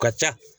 Ka ca